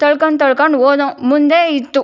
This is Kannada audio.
ತಳ್ಕೊಂಡು ತಳ್ಕೊಂಡು ಹೋದ್ವು ಮುಂದೆ ಇತ್ತು.